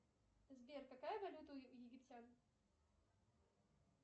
сбер какая валюта у египтян